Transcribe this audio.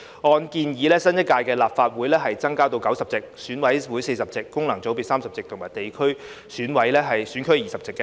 按建議，新一屆立法會增至90席，選委會40席、功能界別30席及地方選區20席。